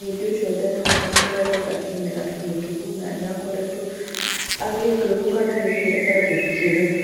Mũhĩndi ũcio ndarĩ na ihinda rĩega kĩmera kĩhĩtũku na nĩakoretwo agĩũkĩrĩrwo nĩ gũikũrũka gĩkĩro